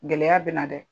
Gɛlɛya bɛ na dɛ